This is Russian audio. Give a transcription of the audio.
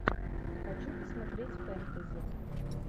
хочу посмотреть фэнтези